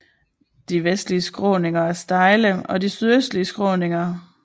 De vestlige skråninger er stejle og de sydøstlige skråninger